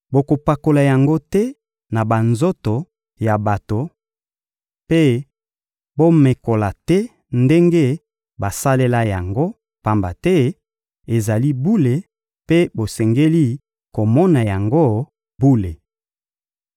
Bokopakola yango te na banzoto ya bato mpe bomekola te ndenge basalela yango, pamba te ezali bule mpe bosengeli komona yango bule.